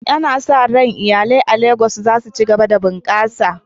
Ana sa ran iyalai a Legas za su ci gaba da bunƙasa.